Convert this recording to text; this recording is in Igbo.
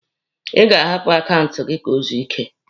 Ị ga-ahapụ akaụntụ gị ka o zuo ike!